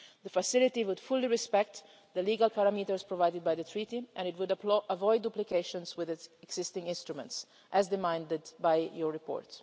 The facility would fully respect the legal parameters provided by the Treaty, and it would avoid duplications with its existing instruments, as called for in your report.